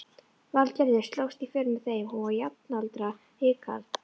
Valgerður slóst í för með þeim, hún var jafnaldra Richards.